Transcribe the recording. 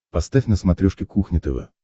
поставь на смотрешке кухня тв